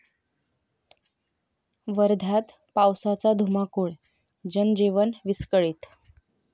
वर्ध्यात पावसाचा धुमाकूळ, जनजीवन विस्कळीत